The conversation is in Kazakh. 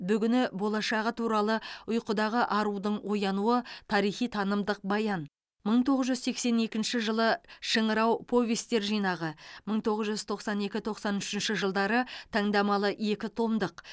бүгіні болашағы туралы ұйқыдағы арудың оянуы тарихи танымдық баян мың тоғыз жүз сексен екінші жылы шыңырау повестер жинағы мың тоғыз жүз тоқсан екінші тоқсан үшінші жылдары таңдамалы екі томдық